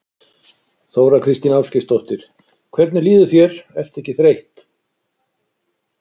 Þóra Kristín Ásgeirsdóttir: Hvernig líður þér, ertu ekki þreytt?